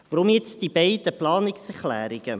Weshalb nun die beiden Planungserklärungen?